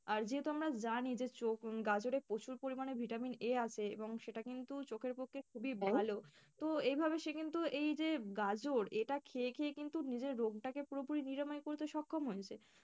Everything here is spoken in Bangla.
আর যেহেতু আমরা জানি যে চোখ গাজরে প্রচুর পরিমাণে vitamin A আছে এবং সেটা কিন্তু চোখের পক্ষে খুবই তো এভাবে সে কিন্তু এই যে গাজর এটা খেয়ে খেয়ে কিন্তু নিজের রোগটাকে পুরোপরি নিরাময় করতে সক্ষম হয়েছে।